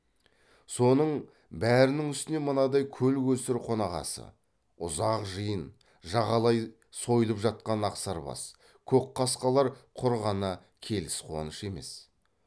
соның бәрінің үстіне мынадай көл көсір қонағасы ұзақ жиын жағалай сойылып жатқан ақсарбас көкқасқалар құр ғана келіс қуанышы емес